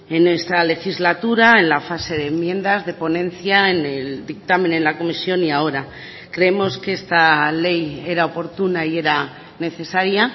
en esta legislatura en la fase de enmiendas de ponencia en el dictamen en la comisión y ahora creemos que esta ley era oportuna y era necesaria